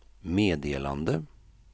meddelande